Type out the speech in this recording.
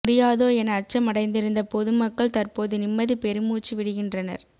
முடியாதோ என அச்சம் அடைந்திருந்த பொது மக்கள் தற்போது நிம்மதி பெருமூச்சு விடுகின்றனர்